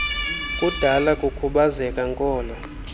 budala kukhubazeka nkolo